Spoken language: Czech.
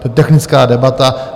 To je technická debata.